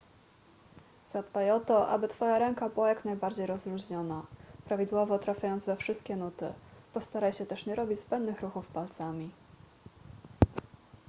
zadbaj o to aby twoja ręka była jak najbardziej rozluźniona prawidłowo trafiając we wszystkie nuty postaraj się też nie robić zbędnych ruchów palcami